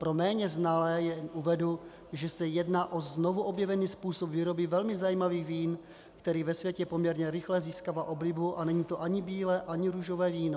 Pro méně znalé jen uvedu, že se jedná o znovuobjevený způsob výroby velmi zajímavých vín, který ve světě poměrně rychle získává oblibu, a není to ani bílé ani růžové víno.